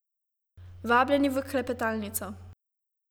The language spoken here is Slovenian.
Vabljeni v klepetalnico.